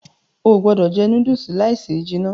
Óò gbọdọ jẹ núdùùsì láì se jìnà.